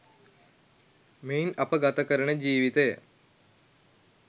මෙයින් අප ගත කරන ජීවිතය